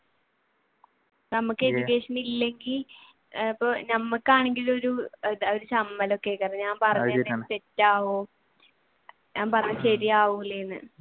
ഞമ്മക്ക് education ഇല്ലെങ്കിൽ ഇപ്പൊ ഞമ്മക്കാണെകിൽ ഒരു ചമ്മൽ ഒക്കെ തെറ്റാവോ ഞാൻ പറഞ്ഞത് ശരിയാവൂലെയെന്ന്